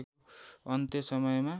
अन्त्य समयमा